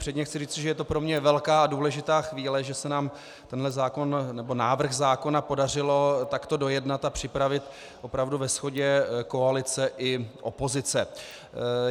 Předně chci říci, že je to pro mě velká a důležitá chvíle, že se nám tenhle zákon nebo návrh zákona podařilo takto dojednat a připravit opravdu ve shodě koalice i opozice.